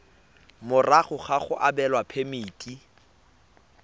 morago ga go abelwa phemiti